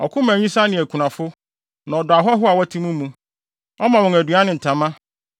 Ɔko ma nyisaa ne akunafo, na ɔdɔ ahɔho a wɔte mo mu. Ɔma wɔn aduan ne ntama.